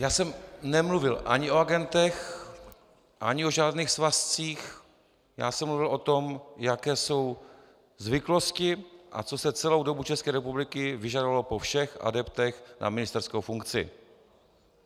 Já jsem nemluvil ani o agentech, ani o žádných svazcích, já jsem mluvil o tom, jaké jsou zvyklosti a co se celou dobu České republiky vyžadovalo po všech adeptech na ministerskou funkci.